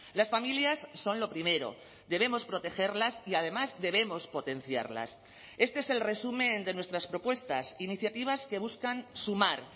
las familias son lo primero debemos protegerlas y además debemos potenciarlas este es el resumen de nuestras propuestas iniciativas que buscan sumar